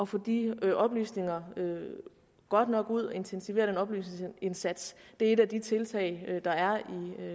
få de oplysninger godt nok ud og intensiveret den oplysningsindsats er et af de tiltag der er